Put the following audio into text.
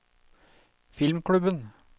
filmklubben